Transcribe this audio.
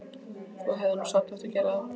Þú hefðir nú samt átt að gera það.